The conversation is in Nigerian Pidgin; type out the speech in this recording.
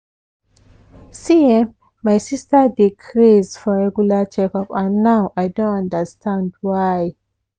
see[um]my sister dey craze for regular checkup and now i don understand why.